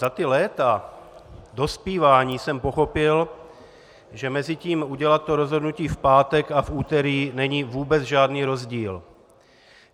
Za ta léta dospívání jsem pochopil, že mezi tím udělat to rozhodnutí v pátek a v úterý není vůbec žádný rozdíl.